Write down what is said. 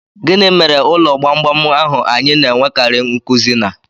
Gị mere ụlọ gbamgbam ahụ anyị na-enwekarị nkuzi na?